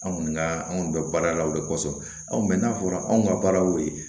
Anw kɔni ka anw kɔni bɛ baara la o de kɔsɔn anw mɛ n'a fɔra anw ka baara y'o ye